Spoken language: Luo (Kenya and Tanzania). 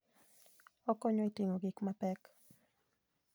Okonyo e ting'o gik mapek.